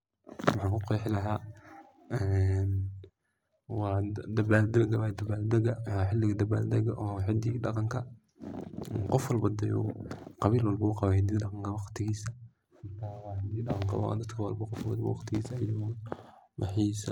Waxan ku qexii laha . Waa xiliga dabaldaga oo hidaha iyo dhaqanka ,qof walba ,qabil walba uu qawa hidaha iyo dhaqanka waqtigisa ayu waxisa .